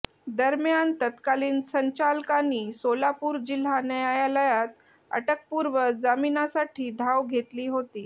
दरम्यान तत्कालीन संचालकांनी सोलापूर जिल्हा न्यायालयात अटकपूर्व जामीनासाठी धाव घेतली होती